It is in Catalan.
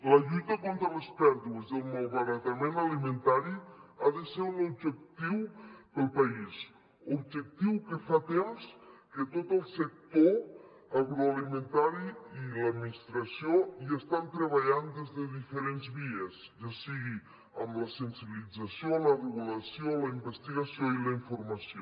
la lluita contra les pèrdues i el malbaratament alimentari ha de ser un objectiu per al país objectiu en què fa temps que tot el sector agroalimentari i l’administració hi estan treballant des de diferents vies ja sigui amb la sensibilització la regu lació la investigació i la informació